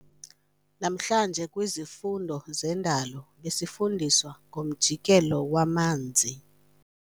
Namhlanje kwizifundo zendalo besifundiswa ngomjikelo wamanzi.